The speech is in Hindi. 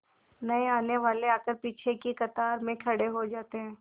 नए आने वाले आकर पीछे की कतार में खड़े हो जाते हैं